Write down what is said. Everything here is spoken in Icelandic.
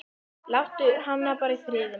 Láttu hana bara í friði, maður.